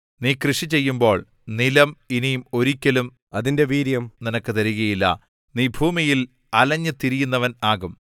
നീ കൃഷി ചെയ്യുമ്പോൾ നിലം ഇനി ഒരിക്കലും അതിന്റെ വീര്യം നിനക്ക് തരികയില്ല നീ ഭൂമിയിൽ അലഞ്ഞുതിരിയുന്നവൻ ആകും